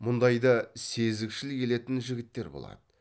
мұндайда сезікшіл келетін жігіттер болады